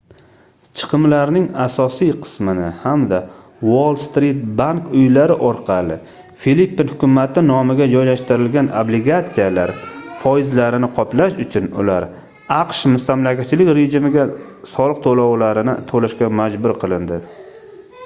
chiqimlarning asosiy qismini hamda uoll-strit bank uylari orqali filippin hukumati nomiga joylashtirilgan obligatsiyalar foizlarini qoplash uchun ular aqsh mustamlakachilik rejimiga soliq toʻlovlarini toʻlashga majbur qilindi